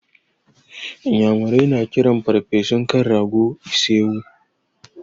Inyamurai na kiran ferfesun kan rago da ise-wu.